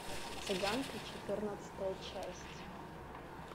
цыганка четырнадцатая часть